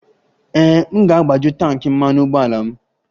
Ee, m ga-agbaju tanki mmanụ ụgbọala m.